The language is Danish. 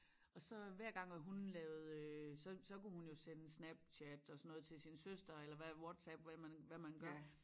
Og så hver gang at hun øh lavede øh så så kunne hun jo sende Snapchat og sådan noget til sin søster eller hvad Whatsapp eller hvad man hvad man gør